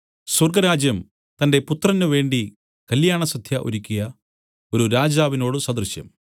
സ്വർഗ്ഗരാജ്യം തന്റെ പുത്രന് വേണ്ടി കല്യാണസദ്യ ഒരുക്കിയ ഒരു രാജാവിനോടു സദൃശം